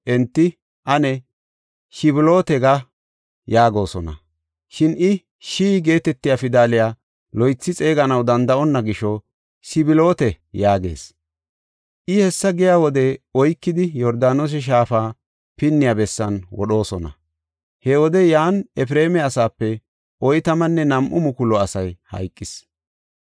enti, “Ane, ‘Shiboleete’ ga” yaagosona. Shin i, “Shi” geetetiya pidaliya loythi xeeganaw danda7onna gisho, “Siboleete” yaagees. I hessa giya wode oykidi, Yordaanose shaafa pinniya bessan wodhoosona. He wode yan Efreema asaape oytamanne nam7u mukulu asay hayqis.